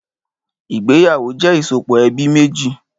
Ìgbéyàwó jẹ ìsopọ̀ ẹbí méjì